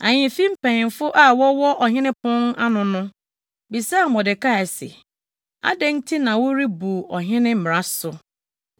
Ahemfi mpanyimfo a wɔwɔ ɔhene pon ano no bisaa Mordekai se, “Adɛn nti na worebu ɔhene mmara so?”